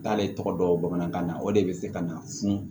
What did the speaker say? K'ale tɔgɔ dɔn bamanankan na o de be se ka na funu